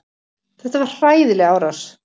Þetta var hræðileg árás.